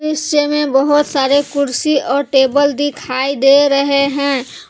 दृश्य मे बहुत सारे कुर्सी और टेबल दिखाई दे रहे हैं।